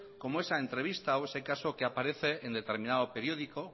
como esa entrevista o ese caso que aparece en determinado periódico